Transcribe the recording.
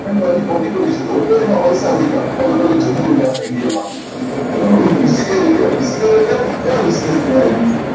લોકોએ એમાં પૈસા મૂયક અલગ અલગ જગ્યાથી ઇન્ડિયા માં થી પણ હવે એટલે કાયા કહેવાય એને